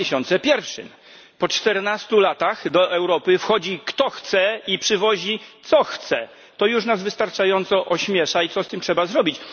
2001. Po czternastu latach do Europy wchodzi, kto chce, i przywozi, co chce to już nas wystarczająco ośmiesza i coś z tym trzeba zrobić.